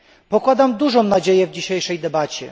Pokładam duże nadzieje w dzisiejszej debacie.